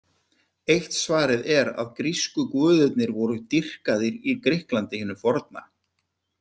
Eitt svarið er að grísku guðirnir voru dýrkaðir í Grikklandi hinu forna.